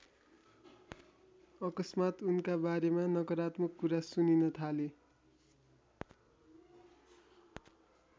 अकस्मात् उनका बारेमा नकारात्मक कुरा सुनिन थाले।